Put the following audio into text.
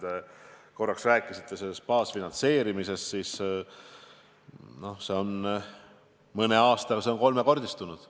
Te rääkisite baasfinantseerimisest – see on mõne aastaga kolmekordistunud.